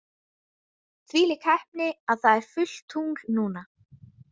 Þvílík heppni að það er fullt tungl núna.